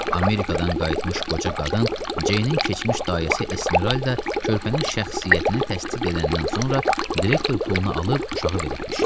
Amerikadan qayıtmış qoca qadın Jeynin keçmiş dayəsi Esmeralda körpənin şəxsiyyətini təsdiq edəndən sonra direktor pulunu alıb uşağı veribmiş.